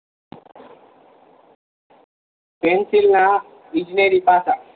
pencil ના બિજનેરી પાસા